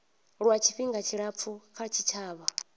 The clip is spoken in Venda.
lwa tshifhinga tshilapfu kha tshitshavha